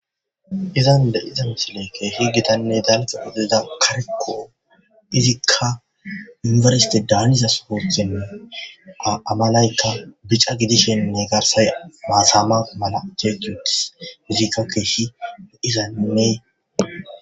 Izani beyida misileyi kehi gittane daliga gidida izika tuniberesite daniza sohoni a malayika bicca gidishin a garisayika matama mala jeji utisi izika loyizanne